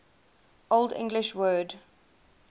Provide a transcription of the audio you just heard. old english word